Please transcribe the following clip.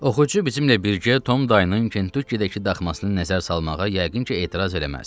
Oxucu bizimlə birgə Tom dayının Kentukkidəki daxmasını nəzər salmağa yəqin ki, etiraz eləməz.